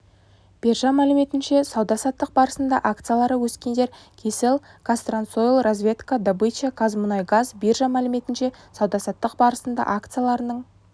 биржа мәліметінше сауда-саттық барысында акциялары өскендер кселл казтрансойл разведка добыча казмунайгаз биржа мәліметінше сауда-саттық барысында акцияларының